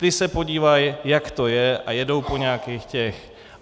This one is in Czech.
Ti se podívají, jak to je, a jednou po nějakých těch...